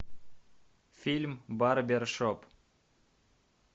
фильм барбершоп